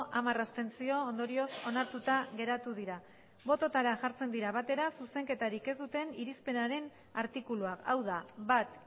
hamar abstentzio ondorioz onartuta geratu dira bototara jartzen dira batera zuzenketarik ez duten irizpenaren artikuluak hau da bat